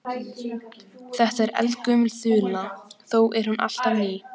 Þetta er eldgömul þula þó er hún alltaf ný.